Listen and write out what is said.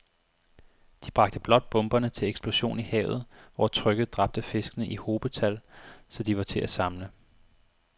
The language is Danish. De bragte blot bomberne til eksplosion i havet, hvor trykket dræbte fiskene i hobetal, så de var til at samle